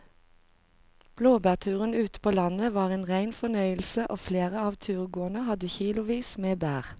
Blåbærturen ute på landet var en rein fornøyelse og flere av turgåerene hadde kilosvis med bær.